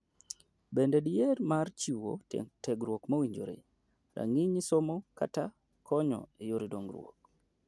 Bende diher mar chiwo tiegruok mowinjore ,rang'iny somo kata konyo eyore dongruok ?